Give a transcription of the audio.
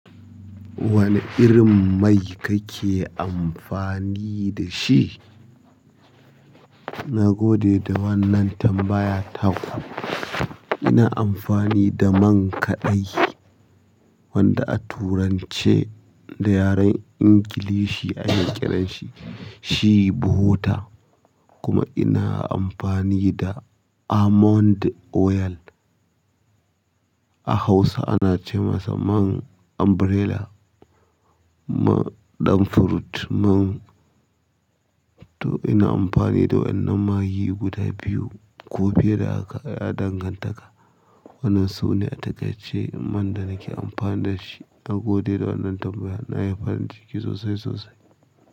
Wane irin mai kake amfani da shi? Na gode da wannan tambaya taku. Ina amfani da man kaɗe wanda a turance da yaren Ingilishi a na kiran shi, shi "Butter" kuma ina amfani da "Almond Oil". A Hausa ana ce masa man Umbrella, man ɗan fruit, man to ina amfani da wannan maggi guda biyu ko fiye da haka ya danganta ka. Wannan su ne a takaice man da nake amfani da shi na gode da wannan tambaya, na yi farin ciki sosai sosai.